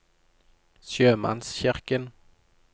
sjømannskirken